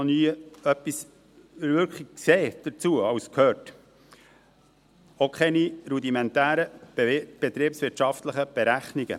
Ich habe einfach noch nie wirklich etwas dazu gesehen oder gehört, auch keine rudimentären betriebswirtschaftlichen Berechnungen.